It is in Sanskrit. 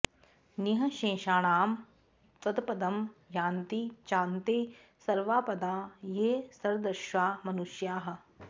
निःशेषाणां तत्पदं यान्ति चान्ते सर्वापदा ये सदृशा मनुष्याः